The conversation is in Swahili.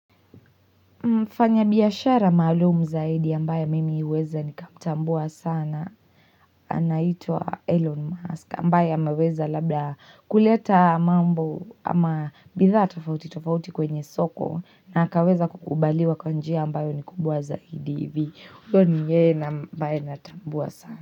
Mfanya biashara maalum zaidi ambaye mimi huweza nikamtambua sana. Anaitwa Elon Musk. Ambaye ameweza labda kuleta mambo ama bidhaa tofauti tofauti kwenye soko. Na akaweza kukubaliwa kwa njia ambayo ni kubwa zaidi hivi. Uyo ni yeye na ambaye natambua sana.